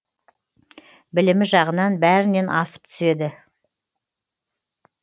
білімі жағынан бәрінен асып түседі